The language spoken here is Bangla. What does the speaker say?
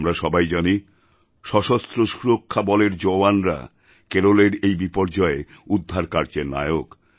আমরা সবাই জানি সশস্ত্র সুরক্ষাবলের জওয়ানরা কেরলের এই বিপর্যয়ে উদ্ধারকার্যের নায়ক